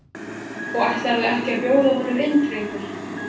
Og ætlarðu ekki að bjóða honum inn drengur?